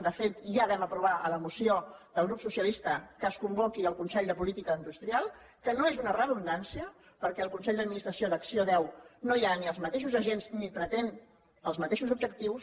de fet ja vam aprovar amb la moció del grup socialistes que es convoqui el consell de política industrial que no és un redundància perquè al consell d’administració d’acc1ó no hi ha ni els mateixos agents ni pretén els mateixos objectius